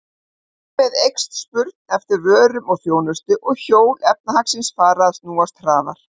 Þar með eykst spurn eftir vörum og þjónustu og hjól efnahagslífsins fara að snúast hraðar.